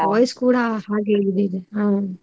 Voice ಕೂಡ ಹಾಗೆ ಇದ್ ಇದೆ ಹ್ಮ್.